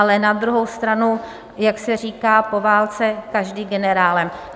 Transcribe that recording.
Ale na druhou stranu, jak se říká: po válce každý generálem.